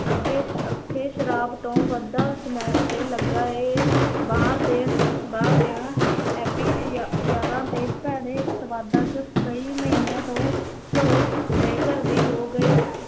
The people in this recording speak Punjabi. ਅੱਗੇ ਅੱਗੇ ਸ਼ਾਰਾਬ ਤੋਂ ਵੱਧਦਾ ਸਮੈਕ ਤੇ ਲੱਗਾ ਹੈ ਬਾਹਰ ਦੇ ਬਾਹਰ ਦਿਆਂ ਯਾ ਯਾਰਾਂ ਤੇ ਭੈੜੇ ਸਵਾਦਾਂ ਚ ਕਈ ਮਹੀਨਿਆਂ ਤੋਂ ਘਰੋਂ ਬੇ-ਘਰ ਵੀ ਹੋ ਗਏ।